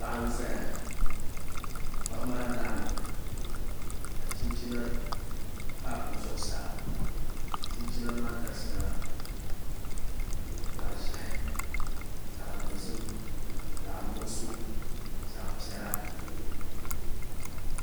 Paɣa n ʒɛya paɣa maa larimi la chinchina pa o zuɣusaa chinchina maa garisila zaɣ ʒiɛhi zaɣ dozim zaɣ nuɣso zaɣ piɛla